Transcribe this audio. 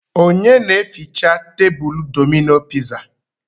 Onye na eficha tebulu Domino piza?